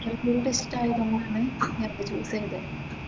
Medical field ഇഷ്‌ടം ആയതുകൊണ്ടാണ് മറ്റേ ചൂസ് ചെയ്തത്.